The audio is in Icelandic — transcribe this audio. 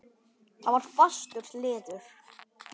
Það var fastur liður.